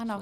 Ano.